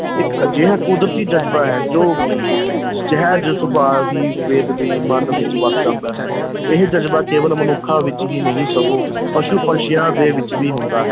ਇੱਕ ਅਜਿਹਾ ਕੁਦਰਤੀ ਜਜ਼ਬਾ ਹੈ ਜੋ ਕਿ ਸਹਿਜ ਸੁਭਾਅ ਹੀ ਮਨ ਵਿੱਚ ਵੱਸ ਜਾਂਦਾ ਹੈ ਇਹ ਜਜ਼ਬਾ ਕੇਵਲ ਮਨੁੱਖਾਂ ਵਿੱਚ ਹੀ ਨਹੀਂ ਸਗੋਂ ਪਸ਼ੂ-ਪੰਛੀਆਂ ਦੇ ਵਿੱਚ ਵੀ ਹੁੰਦਾ ਹੈ।